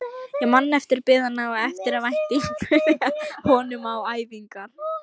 Ég man eftir biðinni og eftirvæntingunni að komast á æfingar.